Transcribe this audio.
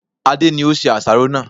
Adé ni ó se àsáró náà